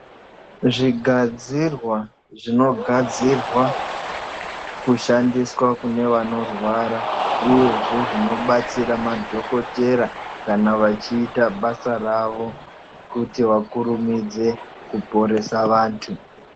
Zvigadzirwa zvinogadzirwa kushandiswa kune vanorwara uyezve zvinobatsira madhokodhera kana vachiita basa ravo kuti vakurumidze kuporesa vantu.